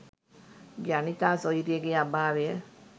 ජනිතා සොයුරියගේ අභාවය